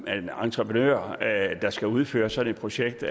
at en entreprenør der skal udføre sådan et projekt